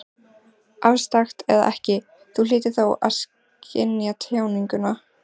Afstrakt eða ekki, Þú hlýtur þó að skynja tjáninguna.